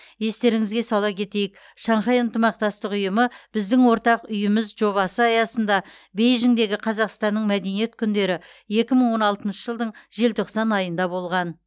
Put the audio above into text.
естеріңізге сала кетейік шанхай ынтымақтастық ұйымы біздің ортақ үйіміз жобасы аясында бейжіңдегі қазақстанның мәдениет күндері екі мың он алтыншы жылдың желтоқсан айында болған